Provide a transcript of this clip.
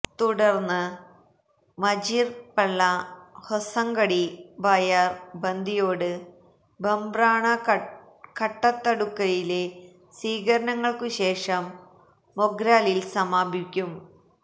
തുടര്ന്ന് മജീര്പ്പള്ള ഹൊസങ്കടി ബായാര് ബന്തിയോട് ബംബ്രാണ കട്ടത്തടുക്കയിലെ സ്വീകരണങ്ങള്ക്കു ശേഷം മൊഗ്രാലില് സമാപിക്കും